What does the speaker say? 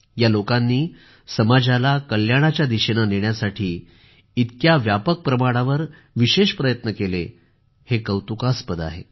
या लोकांनी समाजाला कल्याणाच्या दिशेने नेण्यासाठी इतक्या व्यापक प्रमाणावर विशेष प्रयत्न केले हे कौतुकास्पद आहे